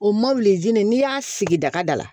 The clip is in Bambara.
O n'i y'a sigi dakada la